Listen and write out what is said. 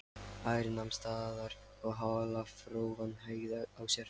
Ari nam staðar og halarófan hægði á sér.